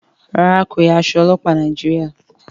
ràrá ko ya Aṣọ ọlọpa Nàìjíríà.